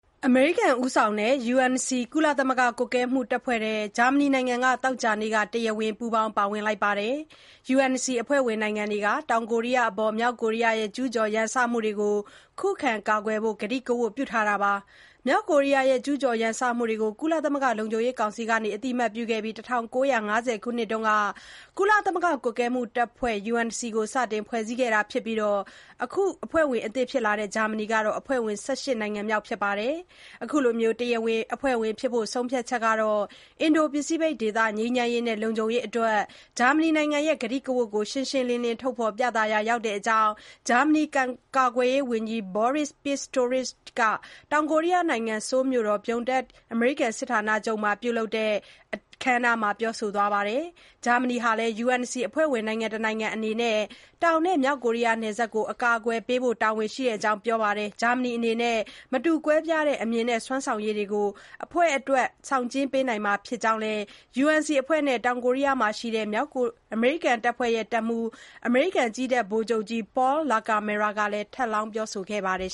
အမေရိကန်ဦးဆောင်တဲ့ (UNC) ကုလသမဂ္ဂကွပ်ကဲမှုတပ်ဖွဲ့ထဲ ဂျာမနီနိုင်ငံက သောကြာနေ့မှာ တရားဝင်ပူးပေါင်း ပါဝင်လိုက်ပါတယ်။ UNC အဖွဲ့ဝင်နိုင်ငံတွေက တောင်ကိုရီယားအပေါ် မြောက်ကိုးရီးယားရဲ့ ကျုးကျော်ရန်စမှုတွေကို ခုခံကာကွယ်ဖို့ ကတိကဝတ်ပြုထားတာပါ။ မြောက်ကိုးရီးယားရဲ့ ကျုးကျော်ရန်စမှုတွေကို ကုလသမဂ္ဂ လုံခြုံရေးကောင်စီက အသိအမှတ်ပြုခဲ့ပြီးတဲ့နောက် ၁၉၅၀ခုနှစ်က ကုလသမဂ္ဂ ကွပ်ကဲမှုတပ်ဖွဲ့ (UNC)ကို စတင်ဖွဲ့စည်းခဲ့တာဖြစ်ပြီး အခု ဂျာမနီနိုင်ငံက အဖွဲ့ဝင် ၁၈ နိုင်ငံမြောက်ဖြစ်ပါတယ်။ အခုလို တရားဝင်အဖွဲ့ဝင်ဖြစ်ဖို့ ဆုံးဖြတ်ချက်က အင်ဒို-ပစိဖိတ်ဒေသ ငြိမ်းချမ်းရေးနဲ့ လုံခြုံရေးအတွက် ဂျာမနီနိုင်ငံရဲ့ ကတိကဝတ်ကို ရှင်းရှင်းလင်းလင်း ထုတ်ဖော်ပြသရာရောက်တဲ့အကြောင်း ဂျာမနီကာကွယ်ရေးဝန်ကြီး Boris Pistorius က တောင်ကိုရီးယားနိုင်ငံ ဆိုးလ်မြို့ Pyeongtaek အမေရိကန်စစ်ဌာနချုပ်မှာ ပြုလုပ်တဲ့ အခမ်းအနားမှာ ပြောဆိုပါတယ်။ ဂျာမနီဟာလည်း UNC အဖွဲ့ဝင်နိုင်ငံတနိုင်ငံအနေနဲ့ တောင်နဲ့ မြောက်ကိုရီးယားနယ်စပ်ကို အကာအကွယ်ပေးဖို့ တာဝန်ရှိကြောင်းလည်း သူကပြောပါတယ်။ ဂျာမနီအနေနဲ့ မတူကွဲပြားတဲ့ အမြင်နဲ့ စွမ်းဆောင်ရည်တွေကို အဖွဲ့အတွက် ဆောင်ကျဉ်းပေးနိုင်မှာဖြစ်ကြောင်းလည်း UNC အဖွဲ့နဲ့ တောင်ကိုရီးယားမှာရှိတဲ့ အမေရိကန်တပ်ဖွဲ့တွေရဲ့ တပ်မှုး အမေရိကန်ကြည်းတပ်ဗိုလ်ချုပ်ကြီး Paul LaCamera က ထပ်လောင်း ပြောဆိုခဲ့ပါတယ်